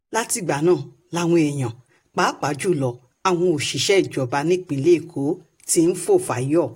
látìgbà náà làwọn èèyàn pàápàá um jù lọ àwọn òṣìṣẹ́ ìjọba nípìnlẹ̀ èkó um ti ń fò fáyọ̀